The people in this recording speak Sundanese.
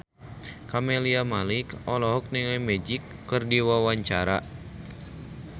Camelia Malik olohok ningali Magic keur diwawancara